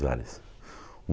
vários.